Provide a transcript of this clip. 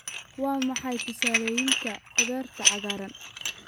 Waa maxay tusaalooyinka khudaarta cagaaran?